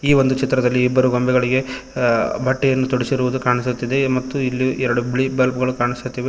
ಈ ಒಂದು ಚಿತ್ರದಲ್ಲಿ ಇಬ್ಬರು ಗೊಂಬೆಗಳಿಗೆ ಅ ಬಟ್ಟೆಯನ್ನು ತೊಡಿಸಿರುವುದು ಕಾಣಿಸುತ್ತಿದೆ ಮತ್ತು ಇಲ್ಲಿ ಎರಡು ಬಿಳಿ ಬಲ್ಪ್ ಗಳು ಕಾಣಿಸುತ್ತಿವೆ.